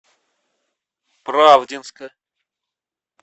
правдинска